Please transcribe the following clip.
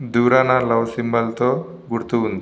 దూరాన love symbol తో గుర్తు ఉంది.